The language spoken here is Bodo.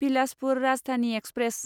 बिलासपुर राजधानि एक्सप्रेस